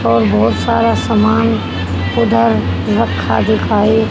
और बहुत सारा सामान उधर रखा दिखाई--